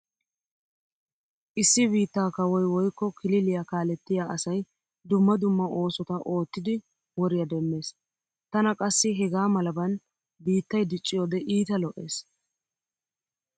Issi biittaa kawoy woykko kililiya kaalettiya asay dumma dumma oosota oottidi woriya demmees. Tana qassi hegaa malaban biittay dicciyode iita lo'ees.